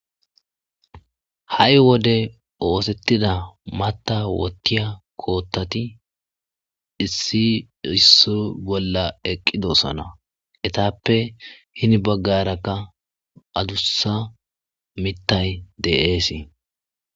ha7i wode oosettida mata wottiya koottati issi issi bolla eqqidosana etappe hini baggarakka adussa mittay de7eesii